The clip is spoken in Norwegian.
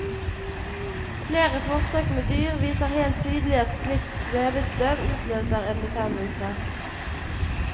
Flere forsøk med dyr viser helt tydelig at slikt svevestøv utløser en betennelse.